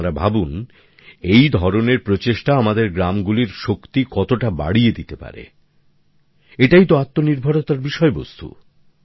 আপনারা ভাবুন এই ধরণের প্রচেষ্টা আমাদের গ্রামগুলির শক্তি কতটা বাড়িয়ে দিতে পারে এটাই তো আত্মনির্ভরতার বিষয়বস্তু